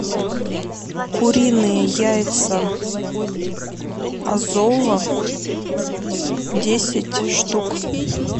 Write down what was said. куриные яйца азова десять штук